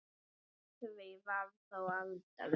Af því varð þó aldrei.